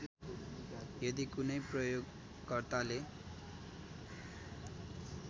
यदि कुनै प्रयोगकर्ताले